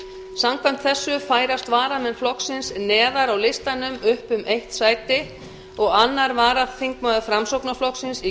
samkvæmt þessu færast varamenn flokksins neðar á listanum upp um eitt sæti og önnur varaþingmaður framsóknarflokksins í